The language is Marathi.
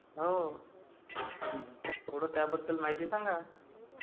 हो...थोडं त्याबद्द्ल माहिती सांगा..